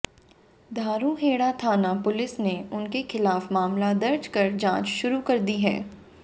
धारूहेड़ा थाना पुलिस ने उनके खिलाफ मामला दर्ज कर जांच शुरू कर दी है